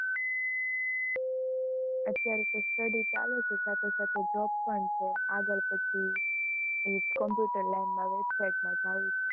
અત્યારે તો study ચાલે છે, સાથે સાથે job પણ છે, આગળ પછી એ જ computer line માં website માં જાવું છે.